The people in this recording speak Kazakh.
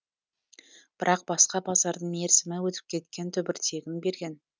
бірақ басқа базардың мерзімі өтіп кеткен түбіртегін берген